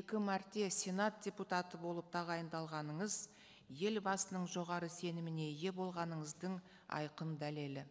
екі мәрте сенат депутаты болып тағайындалғаныңыз елбасының жоғары сеніміне ие болғаныңыздың айқын дәлелі